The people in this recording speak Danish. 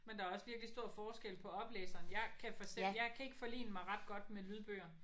Men der er også virkelig stor forskel på oplæseren jeg kan for jeg kan ikke forlige mig ret godt med lydbøger